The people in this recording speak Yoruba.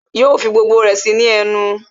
Yo fi gbogbo ẹ sí í ní ẹnu